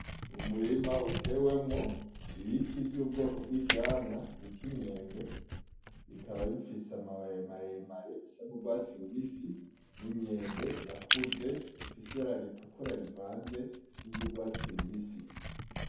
Umurima utewemwo ibiti vy’ubwoko bw’ivyamwa bita imyembe, bikaba bifise amababi maremare bisa n’urwatsi rubisi n’imyembe yakuze ifise ibara ritukura rivanze n’urwatsi rubisi.